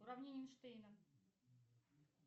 уравнение эйнштейна